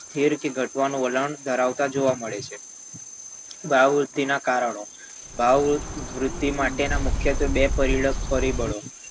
સ્થિર કે ઘટવાનું વલણ ધરાવતા જોવા મળે છે ભાવવૃદ્ધિનાં કારણો ભાવવૃદ્ધિ માટેનાં મુખ્યત્વે બે પ~પરિબળોમાં